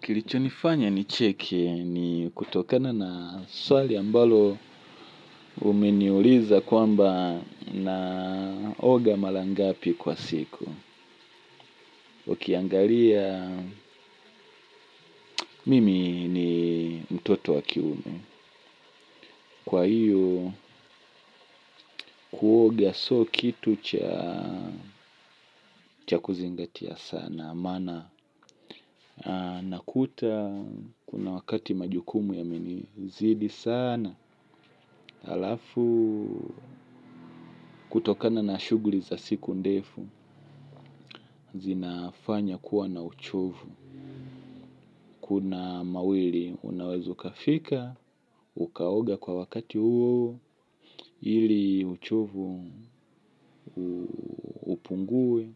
Kilichonifanya nicheke ni kutokana na swali ambalo umeniuliza kwamba naoga mara ngapi kwa siku. Ukiangalia mimi ni mtoto wa kiume kwa hiyo kuoga sio kitu cha kuzingatia sana. Maana nakuta kuna wakati majukumu yamenizidi sana. Alafu kutokana na shughuli za siku ndefu, zinafanya kuwa na uchovu kuna mawili, unaweza ukafika, ukaoga kwa wakati huo ili uchovu upungue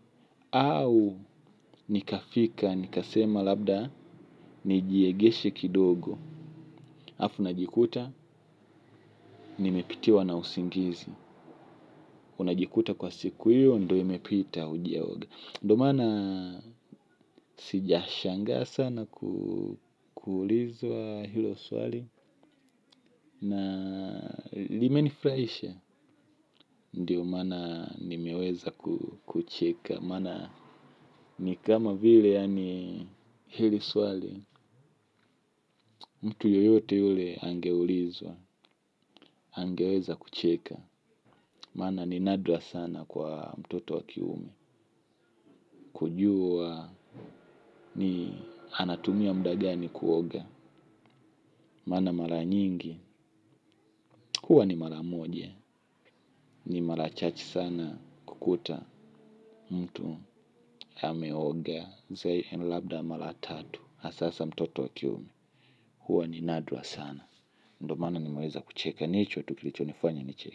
au nikafika, nikasema labda, nijiegeshe kidogo. Alafu najikuta, nimepitiwa na usingizi. Unajikuta kwa siku hiyo, ndio imepita hujaoga ndio maana sijashangaa sana kuulizwa hilo swali na limenifurahisha ndio maana nimeweza kucheka maana ni kama vile yani hili swali mtu yeyote yule angeulizwa angeweza kucheka maana ni nadra sana kwa mtoto wa kiume kujua ni anatumia muda gani kuoga maana mara nyingi huwa ni mara moja. Ni mara chache sana kukuta mtu ameoga labda mara tatu hasa mtoto wa kiume huwa ni nadra sana ndio maana nimeweza kucheka ni hicho tu kilichonifanya nicheke.